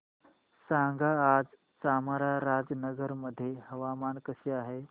सांगा आज चामराजनगर मध्ये हवामान कसे आहे